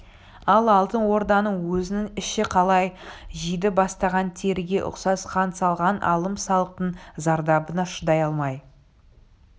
ал алтын орданың өзінің іші қалай жиди бастаған теріге ұқсас хан салған алым-салықтың зардабына шыдай алмай